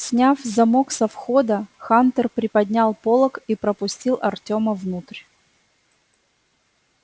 сняв замок со входа хантер приподнял полог и пропустил артема внутрь